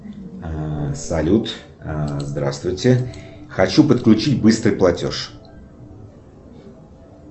салют здравствуйте хочу подключить быстрый платеж